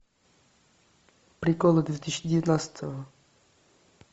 приколы две тысячи девятнадцатого